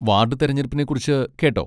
വാഡ് തിരഞ്ഞെടുപ്പിനെക്കുറിച്ച് കേട്ടോ?